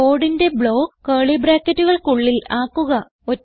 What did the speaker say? കോഡിന്റെ ബ്ലോക്ക് curlyബ്രാക്കറ്റുകൾക്കുള്ളിൽ ആക്കുക